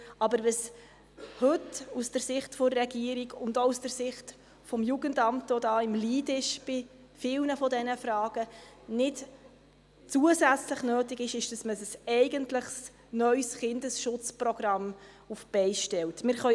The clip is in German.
Aber aus Sicht der Regierung und auch aus Sicht des Jugendamts, das hier den Lead bei vielen Fragen hat, ist es nicht nötig, zusätzlich ein eigentlich neues Kindesschutzprogramm auf die Beine zu stellen.